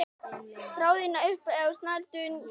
Þráðinn upp á snældu snýr.